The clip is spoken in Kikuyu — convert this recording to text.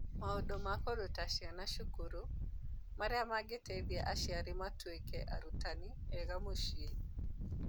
Maũndũ ma kũruta ciana cukuru, marĩa mangĩteithia aciari matuĩke "arutani" ega mũciĩ.